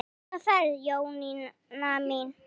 Góða ferð Jónína mín.